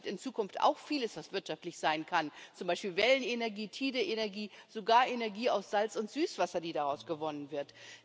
Das Meer bietet in Zukunft auch vieles, was wirtschaftlich sein kann, zum Beispiel Wellenenergie, Tidenenergie, sogar Energie, die aus Salz und Süßwasser gewonnen wird.